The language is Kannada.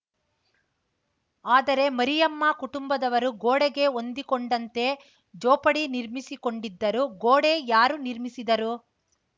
ಆದರೆ ಮರಿಯಮ್ಮ ಕುಟುಂಬದವರು ಗೋಡೆಗೆ ಹೊಂದಿಕೊಂಡಂತೆ ಜೋಪಡಿ ನಿರ್ಮಿಸಿಕೊಂಡಿದ್ದರು ಗೋಡೆ ಯಾರು ನಿರ್ಮಿಸಿದರು